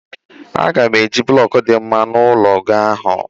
Aga m eji blọkụ dị mma n'ụlọ gị ahụ.